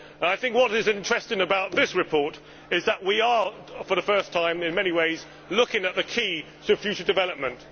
What is interesting about this report is that for the first time we are, in many ways, looking at the key for future development.